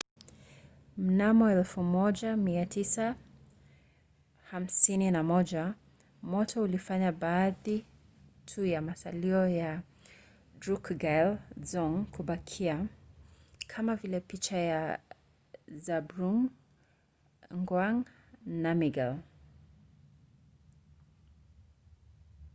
mnamo 1951 moto ulifanya baadhi tu ya masalio ya drukgyal dzong kubakia kama vile picha ya zhabdrung ngawang namgyal